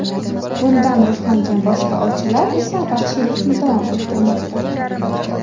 Bundan ruhlangan boshqa ovchilar esa vahshiylikni davom ettirmoqda.